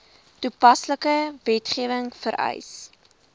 toepaslike wetgewing vereis